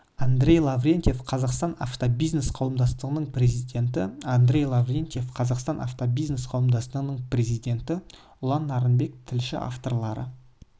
андрей лаврентьев қазақстан автобизнес қауымдастығының президенті андрей лаврентьев қазақстан автобизнес қауымдастығының президенті ұлан нарынбек тілші авторлары